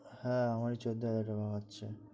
হ্যাঁ আমারি চৌদ্দ হাজার টাকা বাঁচ্ছে